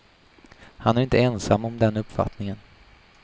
Han är inte ensam om den uppfattningen.